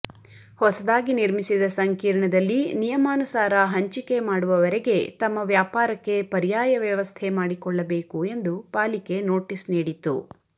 ಹೊಸದಾಗಿ ನಿರ್ವಿುಸಿದ ಸಂಕೀರ್ಣದಲ್ಲಿ ನಿಯಮಾನುಸಾರ ಹಂಚಿಕೆ ಮಾಡುವವರೆಗೆ ತಮ್ಮ ವ್ಯಾಪಾರಕ್ಕೆ ಪರ್ಯಾಯ ವ್ಯವಸ್ಥೆ ಮಾಡಿಕೊಳ್ಳಬೇಕು ಎಂದು ಪಾಲಿಕೆ ನೋಟಿಸ್ ನೀಡಿತ್ತು